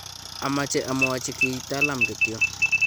ameche amwochi kiy Talam kityo